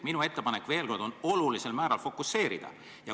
Minu ettepanek veel kord on olulisel määral fokuseerida.